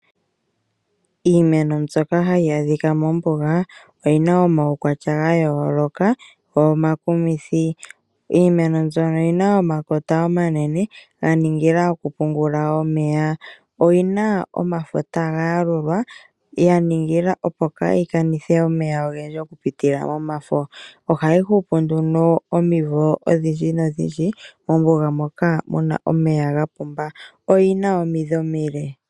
Iimeno mbyoka hayi adhika mombuga oyi na omaukwatya ga yooloka go omakumithi. Iimeno mbyono oyi na omakota omanene ya ningila okupungula omeya. Oyi na omafo taga yalulwa ya ningila opo yaa kanithe omeya ogendji okupitila momafo. Ohayi hupu nduno omivo odhindjidhindji mombuga moka mu na omeya ga pumba. Oyi na omidhi omile.